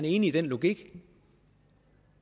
enig i den logik